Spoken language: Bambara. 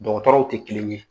Dɔgɔtɔrɔw te kelen ye.